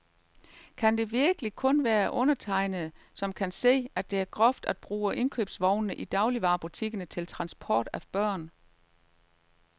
Kan det virkelig kun være undertegnede, som kan se, at det er groft at bruge indkøbsvognene i dagligvarebutikkerne til transport af børn.